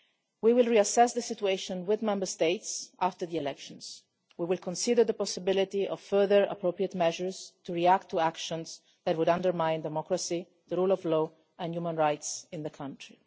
We will reassess the situation with Member States after the elections. We will consider the possibility of further appropriate measures to react to actions that would undermine democracy, the rule of law and human rights in the country.